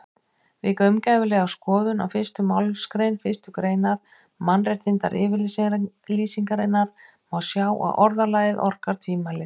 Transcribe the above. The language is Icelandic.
Við gaumgæfilega skoðun á fyrstu málsgrein fyrstu greinar Mannréttindayfirlýsingarinnar má sjá að orðalagið orkar tvímælis.